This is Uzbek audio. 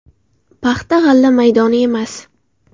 Paxta-g‘alla maydoni emas.